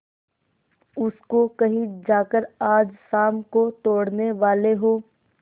उसको कहीं जाकर आज शाम को तोड़ने वाले हों